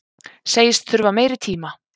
Segist þurfa meiri tíma